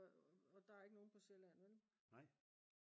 og der er ikke nogen på Sjælland vel?